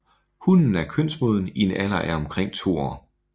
Hunnen er kønsmoden i en alder af omkring to år